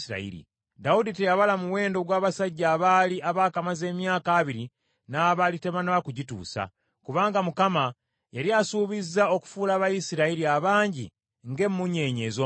Dawudi teyabala muwendo ogw’abasajja abaali abaakamaze emyaka abiri n’abaali tebanaba kugituusa, kubanga Mukama yali asuubiza okufuula Abayisirayiri abangi ng’emmunyeenye ez’omu ggulu.